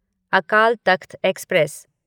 Akal Takht express